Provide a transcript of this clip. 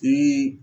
Den